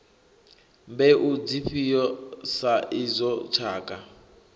mbeu dzifhio sa izwo tshakha